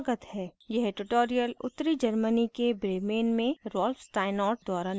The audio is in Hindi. यह ट्यूटोरियल उत्तरी germany के bremen में rolf steinort द्वारा निर्मित है